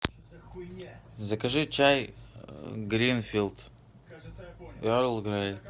закажи чай гринфилд эрл грей